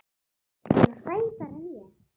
Er hún sætari en ég?